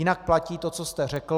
Jinak platí to, co jste řekl.